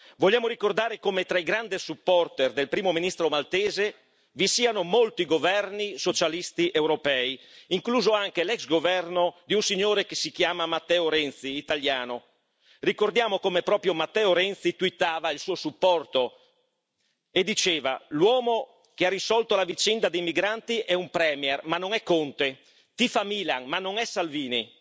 Vogliamo ricordare come tra i grandi supporter del primo ministro maltese vi siano molti governi socialisti europei, incluso anche l'ex governo di un signore che si chiama Matteo Renzi, italiano. Ricordiamo come proprio Matteo Renzi twittava il suo supporto e diceva l'uomo che ha risolto la vicenda dei migranti è un premier, ma non è Conte, tifa Milan, ma non è Salvini,